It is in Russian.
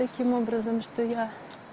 таким образом что я